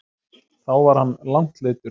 Þá var hann langt leiddur.